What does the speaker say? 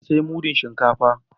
Na siya mudun shinkafa